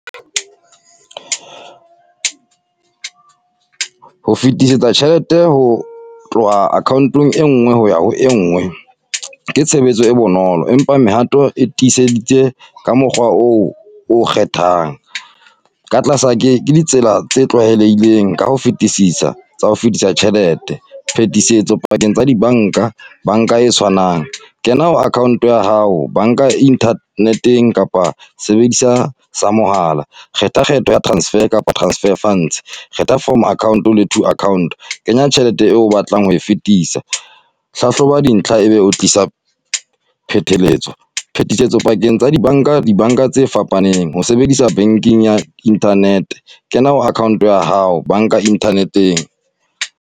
Ho fetisetsa tjhelete ho tloha account-ong e ngwe ho ya ho e ngwe, ke tshebetso e bonolo. Empa mehato e tiiseditse ka mokgwa oo o kgethang, ka tlasa ke, ke ditsela tse tlwaelehileng ka ho fetisisa, tsa ho fetisa tjhelete. Phetisetso pakeng tsa dibanka, banka e tshwanang, kena ho account ya hao, banka internet-eng kapa sebedisa sa mohala. Kgetha kgetho ya transfer kapa transfer funds. Kgetha from account le to account. Kenya tjhelete eo o batlang ho fetisa. Hlahloba dintlha ebe ho tlisa pheteletso, phetisetso pakeng tsa di banka, dibanka tse fapaneng. Ho sebedisa banking ya internet, kena account-ong ya hao, banka internet-eng.